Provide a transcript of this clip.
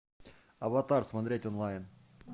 аватар смотреть онлайн